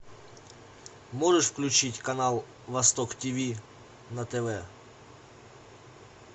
можешь включить канал восток ти ви на тв